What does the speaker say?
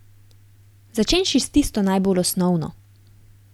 Začenši s tisto najbolj osnovno.